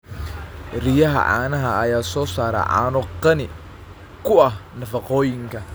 Riyaha caanaha ayaa soo saara caano qani ku ah nafaqooyinka.